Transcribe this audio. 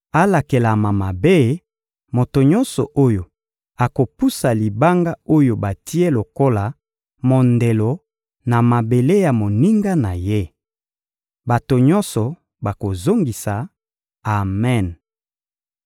«Alakelama mabe, moto nyonso oyo akopusa libanga oyo batie lokola mondelo na mabele ya moninga na ye!» Bato nyonso bakozongisa: «Amen!»